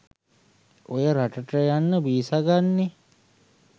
ඔය රට ට යන්න වීසා ගන්නෙ